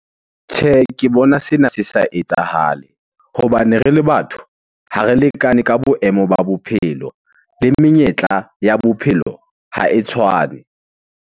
Tjhehe, ke bona sena se sa etsahale hobane re le batho ha re lekane ka boemo ba bophelo. Le menyetla ya bophelo ha e tshwane.